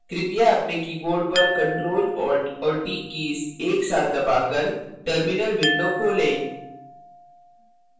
कृपया अपने keyboard पर ctrl alt और t keys एक साथ दबाकर terminal window खोलें